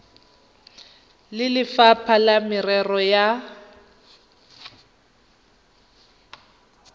le lefapha la merero ya